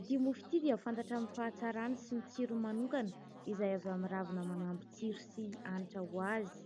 Ity mofo ity dia fantatra amin'ny fahatsarany sy ny tsirony manokana, izay avy ao amin'ny ravina manampy tsiro sy hanitra ho azy.